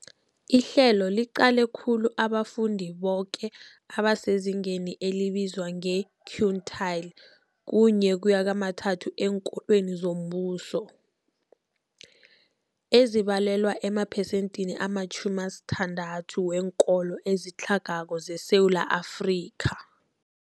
Ihlelo liqale khulu abafundi boke abasezingeni elibizwa nge-quintile 1-3 eenkolweni zombuso, ezibalelwa emaphesenthini ama-60 weenkolo ezitlhagako zeSewula Afrika.